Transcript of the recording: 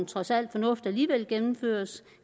trods alt fornuft alligevel gennemføres